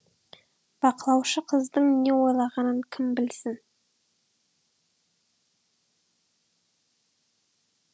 бақылаушы қыздың не ойлағанын кім білсін